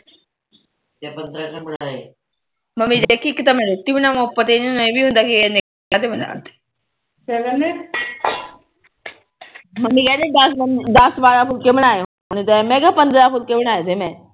mummy ਇੱਕ ਤਾ ਮੈ ਰੋਟੀ ਬਣਾਵਾ ਫਿਰ ਉਪਰ ਤੇ ਇਹਨਾ ਨੂੰ ਇਹ ਹੁੰਦਾ ਇਨੇ ਕਾਤੋ ਬਣਾਤੇ ਕਿਆ ਕਹਿੰਦੇ ਮੰਮੀ ਕਹਿੰਦੇ ਦਸ ਬਾਰਾ ਫੁਲਕੇ ਬਣਾਏ ਹੋਣੇ ਤੇ ਮੈ ਕਾ ਪੰਦਰਾ ਫੁਲਕੇ ਬਣਾਏ ਤੇ ਮੈ